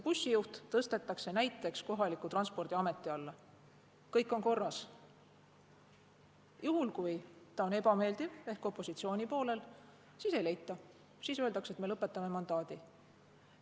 Juhul kui ta on võitjale ebameeldiv ehk opositsiooni poolel, siis ümbervormistamise võimalust ei leita, siis öeldakse, et me lõpetame mandaadi.